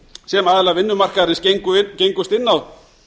sem aðilar vinnumarkaðarins gengust inn á